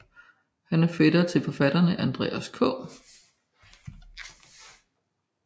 Han er fætter til forfatterne Andreas K